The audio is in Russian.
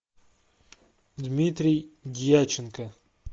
дмитрий дьяченко